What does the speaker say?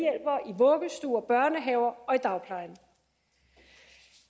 vuggestuer børnehaver og i dagplejen